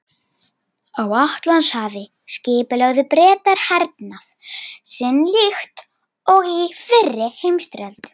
Á Atlantshafi skipulögðu Bretar hernað sinn líkt og í fyrri heimsstyrjöld.